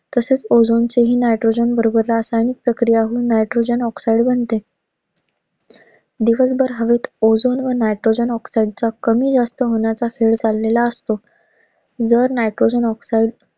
तसच ozone च हि nitrogen बरोबर रासायनिक प्रक्रिया होऊन nitrogen oxide बनते. दिवसभर हवेत ozone व nitrogen oxide चा कमी जास्त होण्याचा खेळ चाललेला असतो. जर nitrogen oxide